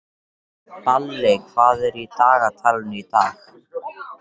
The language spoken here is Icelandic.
Balli, hvað er í dagatalinu í dag?